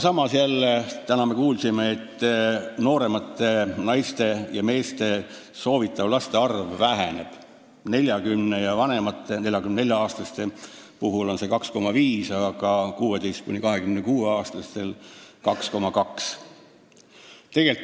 Samas me täna jälle kuulsime, et nooremate naiste ja meeste soovitav laste arv väheneb: 40-aastaste ja vanemate, 44-aastaste puhul on see 2,5, aga 16–26-aastastel 2,2.